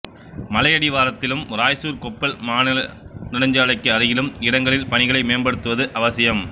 மலையடிவாரத்திலும் ராய்ச்சூர்கொப்பள் மாநில நெடுஞ்சாலைக்கு அருகிலும் இடங்களில் பணிகளை மேம்படுத்துவது அவசியம்